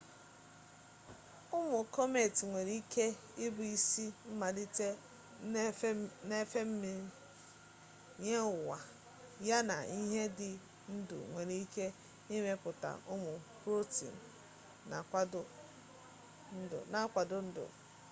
ụmụ kọmetị nwere ike ịbụ isi mmalite nnefe mmiri nye ụwa ya na ihe dị ndụ nwere ike ịmepụta ụmụ protiin ma kwado ndụ